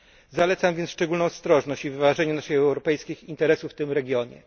Zalecam więc szczególną ostrożność i wyważenie naszych europejskich interesów w tym regionie.